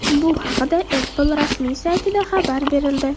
Bu haqda Apple rasmiy saytida xabar berildi .